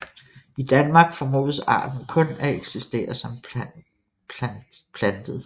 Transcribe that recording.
I Danmark formodes arten kun at eksistere som plantet